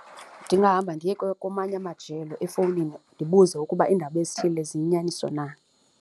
Ndingahamba ndiye kwamanye amajelo efowunini ndibuze ukuba iindaba ezithile ziinyaniso na.